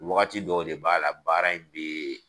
Wagati dɔw de b'a la baara in bɛ